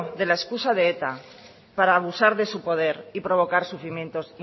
de la excusa de eta para abusar de su poder y provocar sufrimientos